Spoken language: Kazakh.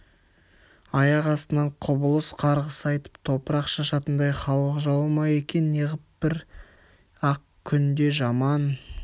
аяқ астынан құбылып қарғыс айтып топырақ шашатындай халық жауы ма екен неғып бір-ақ күнде жаман